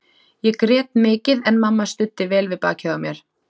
Ég grét mikið en mamma studdi vel við bakið á mér.